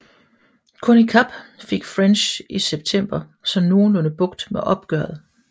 Kun i Kap fik French i september så nogenlunde bugt med oprøret